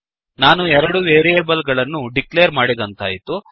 ನಾನು ಎರಡು ವೇರಿಯೇಬಲ್ ಗಳನ್ನು ಡಿಕ್ಲೇರ್ ಮಾಡಿದಂತಾಯಿತು